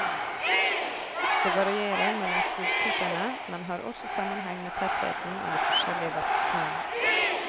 Det varierer mellom skogtypene, men har også sammenheng med tettheten av de forskjellige vertstrærne.